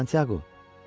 Santyaqo,